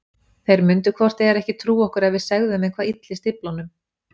Þeir myndu hvort eð er ekki trúa okkur ef við segðum þeim hvað ylli stíflunum.